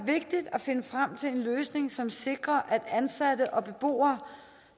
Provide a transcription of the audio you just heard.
vigtigt at finde frem til en løsning som sikrer ansatte og beboere